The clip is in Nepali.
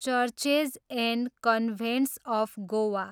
churches and convents of Goa